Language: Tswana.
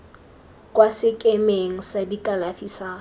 kwa sekemeng sa kalafi sa